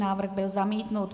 Návrh byl zamítnut.